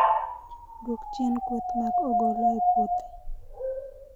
Dwok chien kweth mag ogolo e puothi